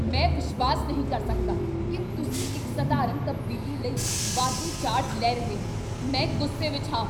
ਮੈਂ ਵਿਸ਼ਵਾਸ ਨਹੀਂ ਕਰ ਸਕਦਾ ਕੀ ਤੁਸੀਂ ਇੱਕ ਸਧਾਰਨ ਤਬਦੀਲੀ ਲਈ ਵਾਧੂ ਚਾਰਜ ਲੈ ਰਹੇ ਹੋ। ਮੈਂ ਗ਼ੁੱਸੇ ਵਿਚ ਹਾਂ।